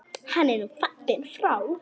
Hann er nú fallinn frá.